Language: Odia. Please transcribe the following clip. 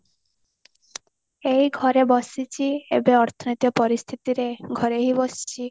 ଏଇ ଘରେ ବସିଚି ଏବେ ଅର୍ଥ ନୀତି ଆଉ ପରିସ୍ଥିତିରେ ଘରେ ହି ବସିଚି